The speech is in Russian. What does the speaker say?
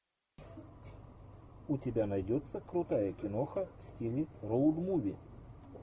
у тебя найдется крутая киноха в стиле роуд муви